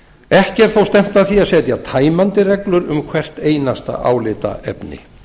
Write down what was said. ekki er þó stefnt að því að setja tæmandi reglur um hvert einasta álitaefni